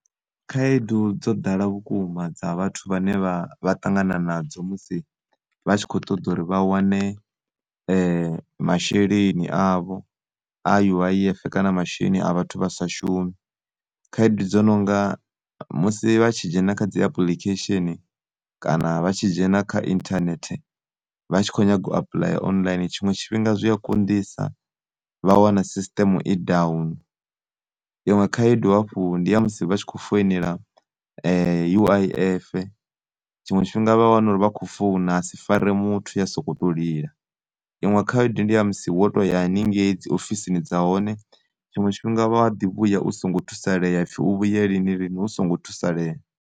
Khaedu dzo ḓala vhukuma dza vhathu vhane vha vhaṱangana nadzo musi vha tshi khoṱoḓori vha wane masheleni avho a U_I_F kana masheleni a vhathu vhasashumi. Khaedu dzo nonga musi vhatshi dzhena khadzi apulikhesheni kana vha tshi dzhena kha inthanethe vha tshi kho nyaga u apulaya online. Tshiṅwe tshifhinga zwia konḓisa vha wana sisIṱeme i down. Iṅwe khaedu hafhu ndi ya musi vhatshi khou founela U_I_F, tshiṅwe tshifhinga vhawana uri vha khou founa hasifare muthu ya sokoto lila. Iṅwe khaedu ndi ya musi wo toya henengei dzi ofisini dza hone, tshiṅwe tshifhinga u wa ḓi vhuya u songo thusaleya hapfi u vhuye lini lini usongo thusalea.